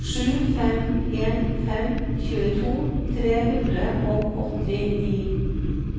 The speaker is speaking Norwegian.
sju fem en fem tjueto tre hundre og åttini